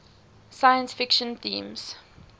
science fiction themes